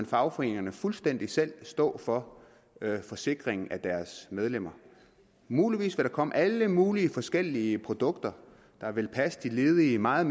fagforeningerne fuldstændig selv stå for forsikringen af deres medlemmer muligvis ville der komme alle mulige forskellige produkter der ville passe de ledige meget